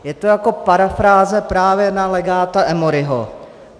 Je to jako parafráze právě na legáta Amauryho.